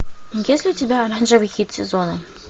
есть ли у тебя оранжевый хит сезона